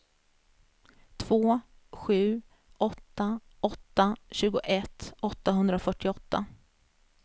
två sju åtta åtta tjugoett åttahundrafyrtioåtta